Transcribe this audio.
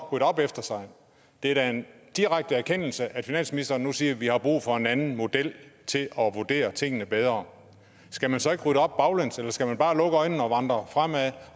rydde op efter sig det er da en direkte erkendelse at finansministeren nu siger at vi har brug for en anden model til at vurdere tingene bedre skal man så ikke rydde op baglæns eller skal man bare lukke øjnene og vandre fremad